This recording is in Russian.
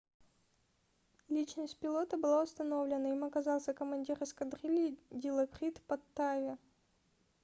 личность пилота была установлена им оказался командир эскадрильи дилокрит паттави